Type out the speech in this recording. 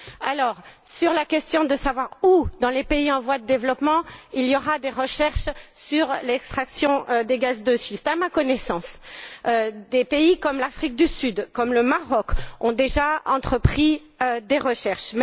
Concernant la question de savoir dans quels pays en voie de développement il y aura des recherches sur l'extraction des gaz de schiste, à ma connaissance, des pays comme l'Afrique du Sud et le Maroc ont déjà entrepris des recherches.